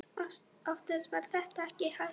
Oftast var það ekki hægt.